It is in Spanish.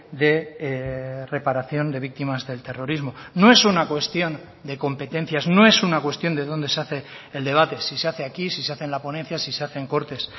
de reparación de víctimas del terrorismo no es una cuestión de competencias no es una cuestión de dónde se hace el debate si se hace aquí si se hace en la ponencia si se hace en cortes